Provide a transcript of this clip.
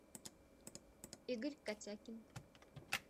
игорь котякин